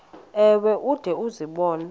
ewe ude uzibone